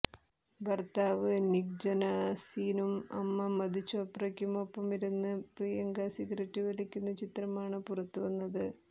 ഭർത്താവ് നിക് ജൊനാസിനും അമ്മ മധു ചോപ്രയ്ക്കും ഒപ്പമിരുന്ന് പ്രിയങ്ക സിഗരറ്റ് വലിക്കുന്ന ചിത്രമാണ് പുറത്തുവന്നത്